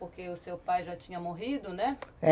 Porque o seu pai já tinha morrido, né?